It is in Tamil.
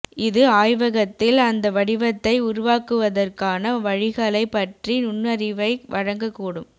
இது ஆய்வகத்தில் அந்த வடிவத்தை உருவாக்குவதற்கான வழிகளைப் பற்றிய நுண்ணறிவை வழங்கக்கூடும்